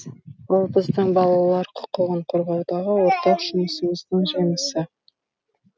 бұл біздің балалар құқығын қорғаудағы ортақ жұмысымыздың жемісі